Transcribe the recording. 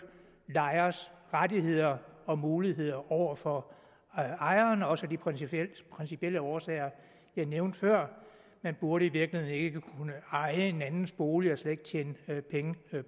lejeres rettigheder og muligheder over for ejeren også af de principielle principielle årsager jeg nævnte før man burde i virkeligheden ikke kunne eje en andens bolig og slet ikke tjene penge